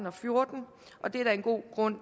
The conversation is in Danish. og fjorten og det er der en god grund